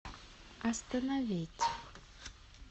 остановить